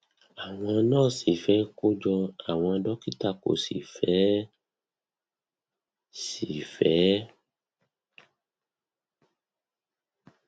àwọn nurse fẹ kó jọ àwọn dókítà kò sì fe é sì fe é